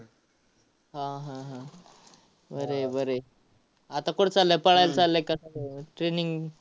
हा, हा, हा. बरं आहे, बरं आहे. आता कुठं चाललाय? पळायला चाललाय का training?